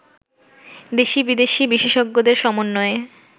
দেশি-বিদেশি বিশেষজ্ঞদের সমন্বয়ে